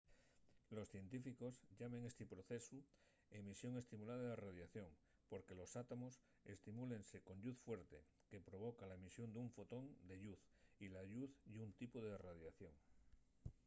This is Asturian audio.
los científicos llamen esti procesu emisión estimulada de radiación” porque los átomos estimúlense con lluz fuerte que provoca la emisión d'un fotón de lluz y la lluz ye un tipu de radiación